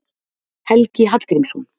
Helgi Hallgrímsson.